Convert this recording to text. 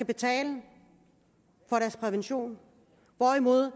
betale for deres prævention hvorimod